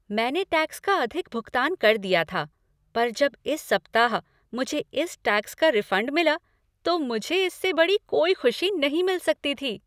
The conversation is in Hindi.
मैंने टैक्स का अधिक भुगतान कर दिया था पर जब इस सप्ताह मुझे इस टैक्स का रिफ़ंड मिला तो मुझे इससे बड़ी कोई खुशी नहीं मिल सकती थी।